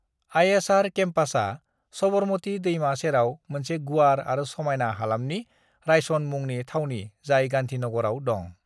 ISR केम्पासआ सबरमती दैमा सेराव मोनसे गुवार आरो समायना हालामनि रायसन मुंनि थावनि जाय गांधीनगरआव दं।